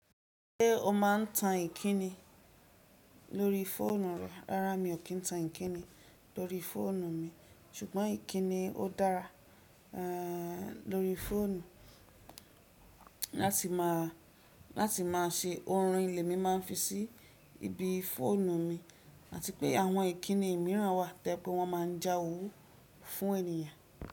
Ṣé o máa ń tan ìkíni lórí fóònù rẹ? Rárá mi ò kí ń tan ìkíni lórí fóònù mi, ṣùgbọ́n ìkíni ó dára, eeh lórí fóònù. Láti máa, láti máa se orin lẹ̀ mi máa ń fi sí ibi fóònù mi, àti pé àwọn ìkíni mìíràn wà to je pé wọ́n máa ń já owú fún ènìyàn.